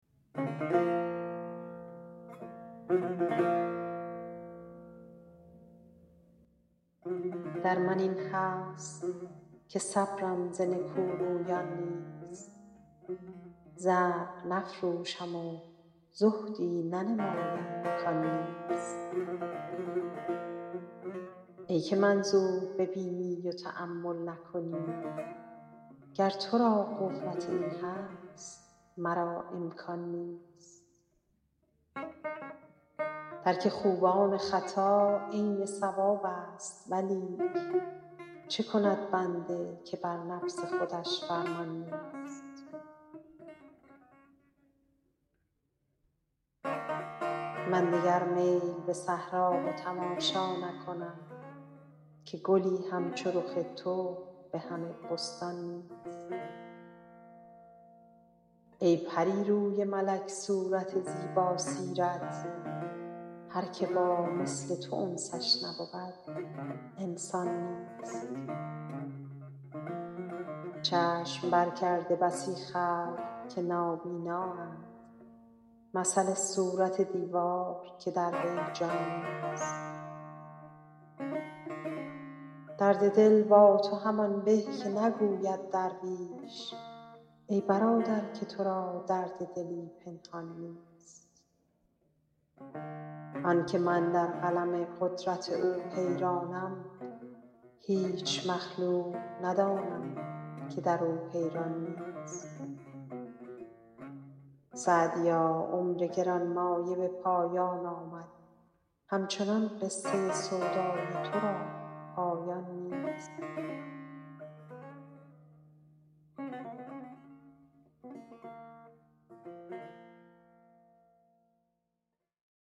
در من این هست که صبرم ز نکورویان نیست زرق نفروشم و زهدی ننمایم کان نیست ای که منظور ببینی و تأمل نکنی گر تو را قوت این هست مرا امکان نیست ترک خوبان خطا عین صوابست ولیک چه کند بنده که بر نفس خودش فرمان نیست من دگر میل به صحرا و تماشا نکنم که گلی همچو رخ تو به همه بستان نیست ای پری روی ملک صورت زیباسیرت هر که با مثل تو انسش نبود انسان نیست چشم برکرده بسی خلق که نابینااند مثل صورت دیوار که در وی جان نیست درد دل با تو همان به که نگوید درویش ای برادر که تو را درد دلی پنهان نیست آن که من در قلم قدرت او حیرانم هیچ مخلوق ندانم که در او حیران نیست سعدیا عمر گران مایه به پایان آمد همچنان قصه سودای تو را پایان نیست